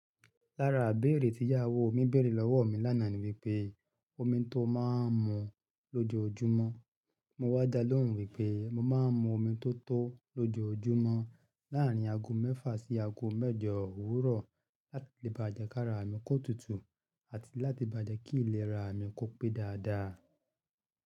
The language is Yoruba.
Lára ibéèrè tí ìyàwó mi bèèrè lọ́wọ́ mi lánàá ni wípé omi tó máa ń mu lójoójúmọ́. Mo wá dá lóhùn wípé mo máa ń mu omi tótó lójoójúmọ́ láàrín ago mẹ́fà sí ago mẹ́jọ òwúrọ̀ láti lè bá jẹ ká ra àmì kó tutù àti láti bá jẹ kí ìlera mi kó pé dáadáa.